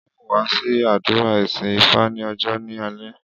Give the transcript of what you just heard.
Á ó wá sí àdúrà ìsìn ifá ní ọjọ́ ni alẹ́ yí